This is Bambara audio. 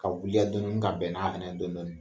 Ka wuliya dɔn dɔnni ka bɛn n'a hɛnɛ ye dɔn dɔnni